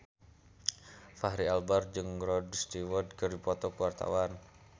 Fachri Albar jeung Rod Stewart keur dipoto ku wartawan